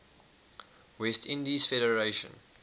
west indies federation